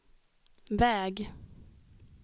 väg